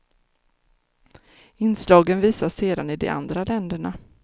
Inslagen visas sedan i de andra länderna.